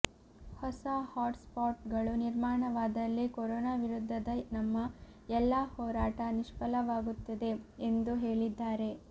ಹೊಸ hotspot ಗಳು ನಿರ್ಮಾಣವಾದಲ್ಲಿ ಕೊರೋನಾ ವಿರುದ್ಧದ ನಮ್ಮ ಎಲ್ಲಾ ಹೋರಾಟ ನಿಷ್ಫಲವಾಗುತ್ತದೆ ಎಂದು ಹೇಳಿದ್ದಾರೆ